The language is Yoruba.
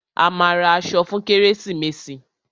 A máa ra aṣọ fún kérésìmesì.